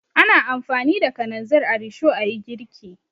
Ana amfani da kananzir a risho a yi girki.